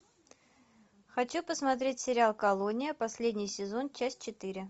хочу посмотреть сериал колония последний сезон часть четыре